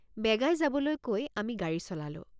বেগাই যাবলৈ কৈ আমি গাড়ী চলালোঁ।